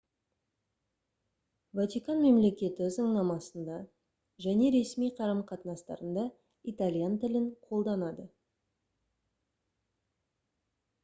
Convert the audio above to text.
ватикан мемлекеті заңнамасында және ресми қарым-қатынастарында италиян тілін қолданады